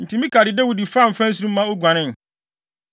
Enti Mikal de Dawid faa mfɛnsere mu ma oguanee.